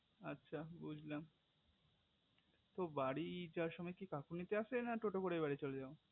আচ্ছা বুঝলাম তো বাড়ি যাবার সময় কাকু নিতে আসে না টোটো করে বাড়ি চলে যায়